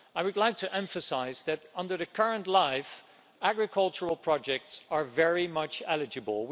I would like to emphasise that, under the current LIFE, agricultural projects are very much eligible.